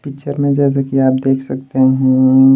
Picture में जैसे कि आप देख सकते हैं।